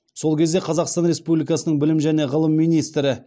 сол кезде қазақстан республикасының білім және ғылым министрі